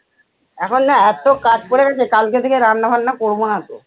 এখন না এতো কাজ পরে গেছে কালকে থেকে রান্না বান্না করবো না তো।